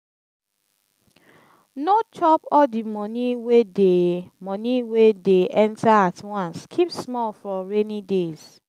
no chop all di money wey dey money wey dey enter at once keep small for rainy days